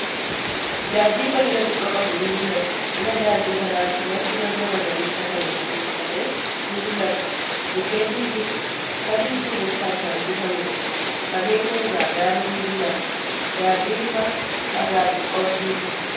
Daandiin bal'ina xiqqoo qabdu ni mul'atti. Cinaa daandii kanaatti, lafti marga magariisa ta'een uwwifame ni mul'ata. Mukkeen ni jiru. Samiin duumessaan kan uwwifameedha. Fageenya irraa gaarri ni mul'ata. Daandii irra dhagaa xixiqqoon ni jira.